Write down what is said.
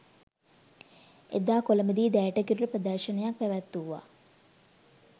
එදා කොළඹදී දැයට කිරුළ ප්‍රදර්ශන ක් පැවැත්වුවා.